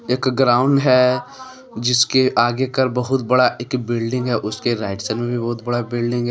एक ग्राउंड है जिसके आगे कर बहुत बड़ा एक बिल्डिंग है उसके राइट साइड में भी बहुत बड़ा बिल्डिंग है।